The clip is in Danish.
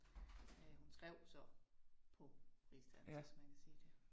Øh hun skrev så på rigsdansk, hvis man kan sige det